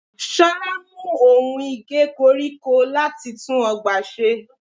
Ṣolá mú ohun Ige koríko láti tún ọgbà ṣe.